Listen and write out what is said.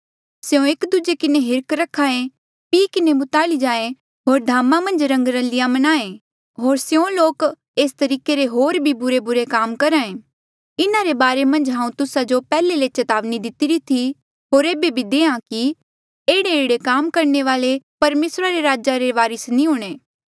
स्यों एक दूजे किन्हें हिर्ख रखे पी किन्हें मुताली जाये होर धामा मन्झ रंगरलिया मन्नाहें होर स्यों लोक एस तरीके रे होर भी बुरेबुरे काम करहे इन्हा रे बारे मन्झ हांऊँ तुस्सा जो पैहले ले चेतावनी दितिरी थी होर ऐबे भी देहां कि एह्ड़ेएह्ड़े काम करणे वाले परमेसरा रे राजा रे वारस नी हूंणे